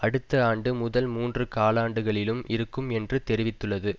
அடுத்த ஆண்டு முதல் மூன்று காலாண்டுகளிலும் இருக்கும் என்று தெரிவித்துள்ளது